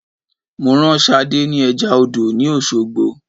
Mo rán Sadé ni eja odò ni Osogbo